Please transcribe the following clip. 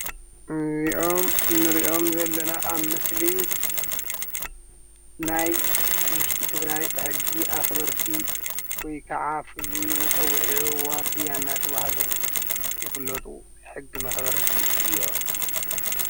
እዚኦም እንሪኦም ዘለና ኣብ ምስሊ ናይ ውሽጢ ትግራይ ሕጊ ኣክበርቲ ወይ ክዓ ፍሉይ መፀዊዖም ዋርድያ ዳተብሃሉ ይፍለጡ። ሕጊ መክበርቲ እዮም።